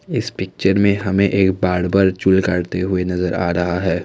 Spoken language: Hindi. इस पिक्चर में हमें एक बार्बल चूल करते हुए नजर आ रहा है।